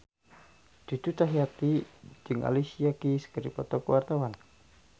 Cucu Cahyati jeung Alicia Keys keur dipoto ku wartawan